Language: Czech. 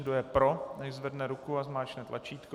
Kdo je pro, nechť zvedne ruku a zmáčkne tlačítko.